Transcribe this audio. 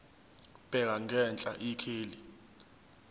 bheka ngenhla ikheli